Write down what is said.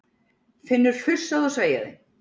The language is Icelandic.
Finnur fussaði og sveiaði.